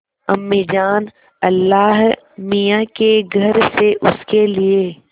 अम्मीजान अल्लाहमियाँ के घर से उसके लिए